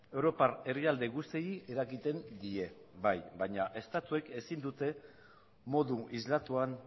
europar herrialde guztiei eragiten die bai baina estatuek ezin dute modu islatuan